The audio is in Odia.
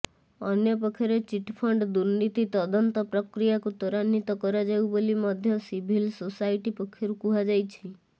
ଅନ୍ୟପକ୍ଷରେ ଚିଟଫଣ୍ଡ ଦୁର୍ନୀତି ତଦନ୍ତ ପ୍ରକ୍ରିୟାକୁ ତ୍ୱରାନିତ୍ୱ କରାଯାଉ ବୋଲି ମଧ୍ୟ ସିଭିଲ ସୋସାଇଟି ପକ୍ଷରୁ କୁହାଯାଇଛି